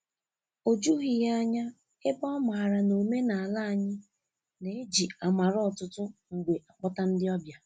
O jughị ya ányá, ebe ọ maara n a omenala anyị na-eji amara ọtụtụ mgbe akpọta ndị ọbịa.